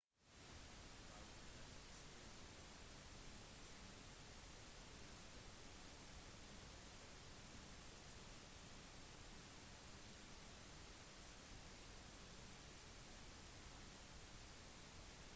david headleys speider- og informasjonssamling hadde hjulpet til med å aktivere operasjonen til ti væpnede menn fra den pakistanske militærgruppen laskhar-e-taiba